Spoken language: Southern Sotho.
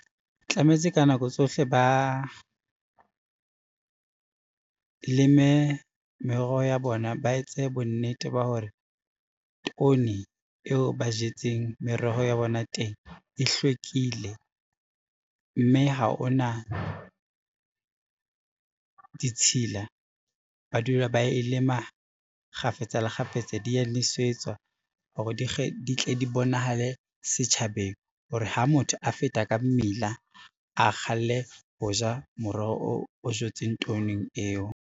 Tlametse ka nako tsohle ba, leme meroho ya bona, ba etse bonnete ba hore toni eo ba jetseng meroho ya bona teng e hlwekile, mme ha ona ditshila ba dula ba e lema kgafetsa le kgafetsa, dia nwesetswa hore di tle di bonahale setjhabeng, hore ha motho a feta ka mmila, a kgalle ho ja moroho o jetsweng toning eo.